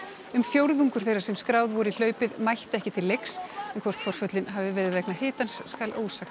um fjórðungur þeirra sem skráð voru í hlaupið mættu ekki til leiks en hvort forföllin hafi verið tilkomin vegna hitans skal ósagt